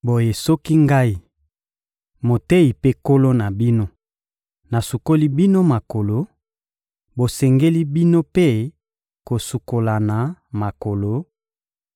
Boye soki Ngai, Moteyi mpe Nkolo na bino, nasukoli bino makolo, bosengeli, bino mpe, kosukolana makolo;